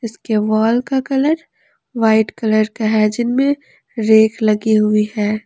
इसके वॉल का colour white colour का है जिनमें रेख लगी हुई हैं।